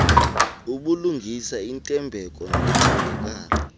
ubulungisa intembeko nokuthembakala